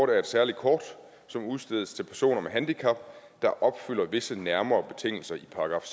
er et særligt kort som udstedes til personer med handicap der opfylder visse nærmere betingelser i §